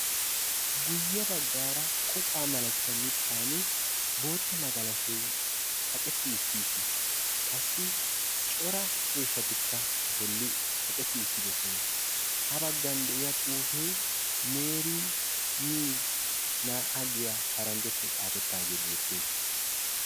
guye baggaara kocaa malatiyaa mittaani bootta magalashoy kaqetti uttiis. Qasi cora ciishatika a bolli kaqetti uttidosona. ha baggan de"iyaa xuufee meeri mii 2 giya paranjjattuan xaafettaage beettes.